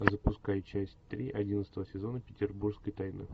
запускай часть три одиннадцатого сезона петербургской тайны